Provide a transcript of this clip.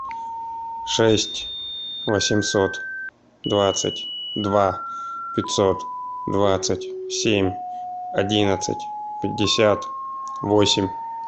шесть восемьсот двадцать два пятьсот двадцать семь одиннадцать пятьдесят восемь